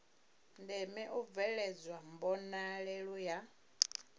ndeme u bveledzwa mbonalelo ya